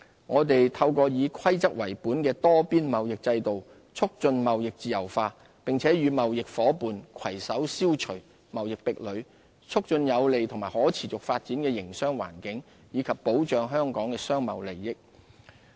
我們透過以規則為本的多邊貿易制度，促進貿易自由化，並與貿易夥伴攜手消除貿易壁壘，促進有利及可持續發展的營商環境，以及保障香港的商貿利益。